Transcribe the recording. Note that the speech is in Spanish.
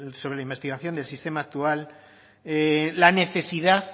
sobre la investigación del sistema actual la necesidad